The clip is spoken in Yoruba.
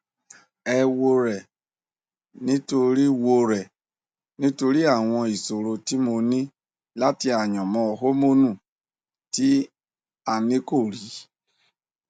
ẹ wo rẹ nítorí wo rẹ nítorí àwọn ìṣòro tí mo ní àti àyànmọn hórmónu tí a nìkò rí